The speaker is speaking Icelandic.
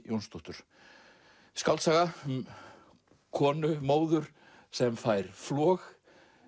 Jónsdóttur skáldsaga um konu móður sem fær flog